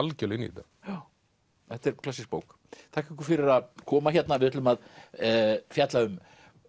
algerlega inn í þetta já þetta er klassísk bók þakka ykkur fyrir að koma hérna við ætlum að fjalla um